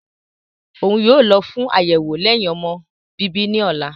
Oun yoo lọ fun ayẹwo lẹhin-ọmọ bibi ni ọla.